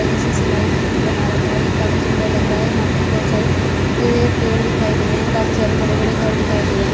और जिस जिस स्लाईड को बना रखा है ये काफी सुंदर लग रहा है यहाँ पर बहोत सारे हरे पेड़ दिखाई दे रहे हैं काफी सारे बड़े-बड़े घर दिखाई दे रहे हैं।